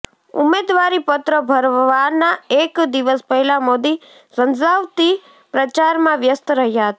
ઉમેદવારીપત્ર ભરવાના એક દિવસ પહેલા મોદી ઝંઝાવતી પ્રચારમાં વ્યસ્ત રહ્યા હતા